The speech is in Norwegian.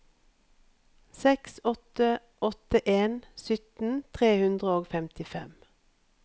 seks åtte åtte en sytten tre hundre og femtifem